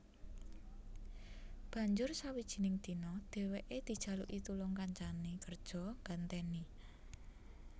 Banjur sawijining dina dhèwèké dijaluki tulung kancané kerja nggantèni